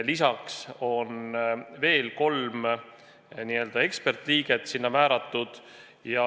Lisaks on veel kolm n-ö ekspertliiget sinna määratud.